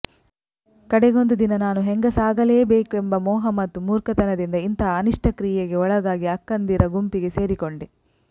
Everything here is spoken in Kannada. ಕಡೆಗೊಂದು ದಿನ ನಾನು ಹೆಂಗಸಾಗಲೇಬೇಕೆಂಬ ಮೋಹ ಮತ್ತು ಮೂರ್ಖತನದಿಂದ ಇಂತಹ ಅನಿಷ್ಟ ಕ್ರಿಯೆಗೆ ಒಳಗಾಗಿ ಅಕ್ಕಂದಿರ ಗುಂಪಿಗೆ ಸೇರಿಕೊಂಡೆ